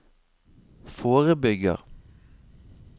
forebygger